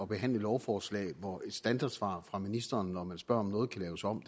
behandle lovforslag hvor et standardsvar fra ministeren når man spørger om noget kan laves om